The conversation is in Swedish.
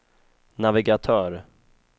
navigatör